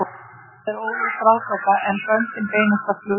Það er óleyst ráðgáta, en böndin beinast að flugvélum.